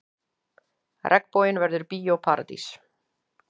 Regnboginn verður Bíó Paradís